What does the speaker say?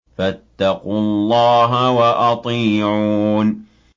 فَاتَّقُوا اللَّهَ وَأَطِيعُونِ